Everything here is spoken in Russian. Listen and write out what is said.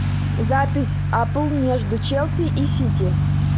запись апл между челси и сити